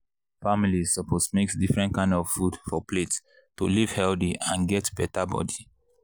families suppose mix different kind of food for plate to live healthy and get better body.